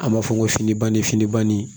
An b'a fɔ ko fini banni fini banni